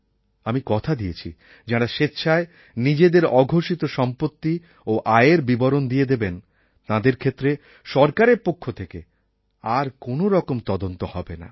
আমি কথা দিয়েছি যাঁরা স্বেচ্ছায় নিজেদের অঘোষিত সম্পত্তি ও আয়ের বিবরণ দিয়ে দেবেন তাঁদের ক্ষেত্রে সরকারের পক্ষ থেকে আর কোনও রকম তদন্ত হবে না